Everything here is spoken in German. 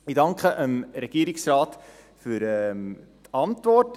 Ich danke dem Regierungsrat für die Antwort.